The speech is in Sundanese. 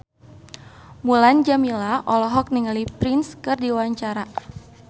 Mulan Jameela olohok ningali Prince keur diwawancara